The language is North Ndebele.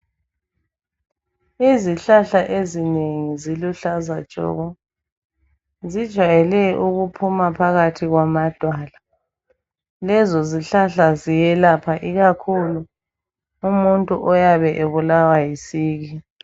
Izihlahla ezinengi ziluhlaza tshoko zijwayele ukuphuma phakathi kwamadwala lezo zihlahla ziyelapha ikakhulu umuntu oyabe ebulawa yisiki.